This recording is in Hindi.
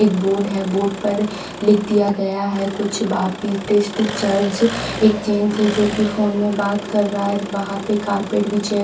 एक बोर्ड है बोर्ड पर लिख दिया गया है कुछ एक जेंट्स है जो कि फोन में बात कर रहा है बाहर पे कारपेट बिछे है।